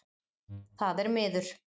Það er miður.